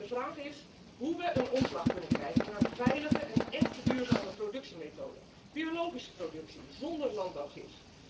De vraag is hoe we een omslag kunnen krijgen naar veilige en echt duurzame productiemethoden biologische productie zonder landbouwgif.